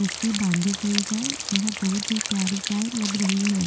रस्सी बांधी गई है यह बहुत ही प्यारी गाय लग रही है।